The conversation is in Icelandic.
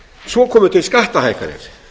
svo komu til skattahækkanir